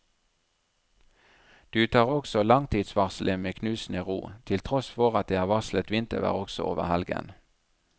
Du tar også langtidsvarselet med knusende ro, til tross for at det er varslet vintervær også over helgen.